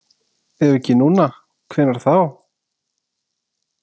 Ef ekki núna, hvenær þá?